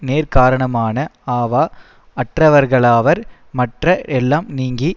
நேர்க்காரணமான அவா அற்றவர்களாவர் மற்ற எல்லாம் நீங்கி